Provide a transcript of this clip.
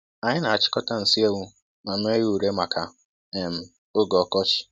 Anyị na-achịkọta nsi ewu ma mee ya ure maka um oge ọkọchị.